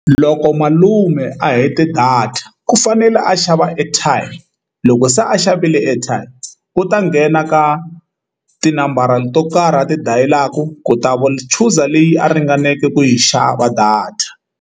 Loko malume a hete data ku fanele a xava airtime loko se a xavile airtime u ta nghena ka tinambara to karhi a ti dayila ku ku time user leyi a ringaneke ku yi xava data.